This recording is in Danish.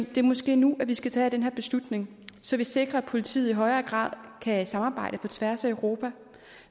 det måske er nu at vi skal tage den her beslutning så vi sikrer at politiet i højere grad kan samarbejde på tværs af europa